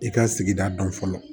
I ka sigida dɔn fɔlɔ